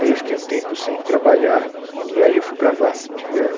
Aí eu fiquei um tempo sem trabalhar e aí eu fui para a VASP. Que é o